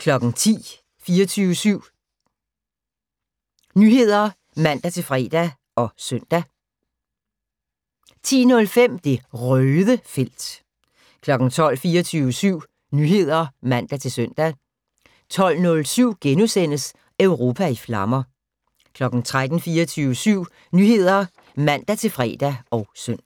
10:00: 24syv Nyheder (man-fre og søn) 10:05: Det Røde felt 12:00: 24syv Nyheder (man-søn) 12:07: Europa i flammer * 13:00: 24syv Nyheder (man-fre og søn)